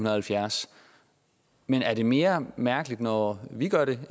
og halvfjerds men er det mere mærkeligt når vi gør det